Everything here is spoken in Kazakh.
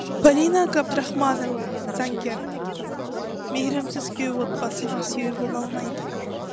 полина габдрахманова заңгер мейірімсіз күйеу отбасыға сүйеу бола алмайды